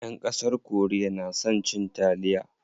Ƴan ƙasar korea na son cin taliya.